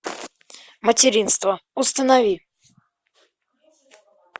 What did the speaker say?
материнство установи